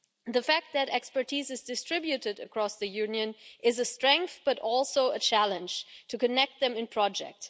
The fact that expertise is distributed across the Union is a strength, but also a challenge to connect them in projects.